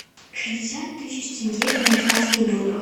шестьдесят тысяч тенге в американских долларах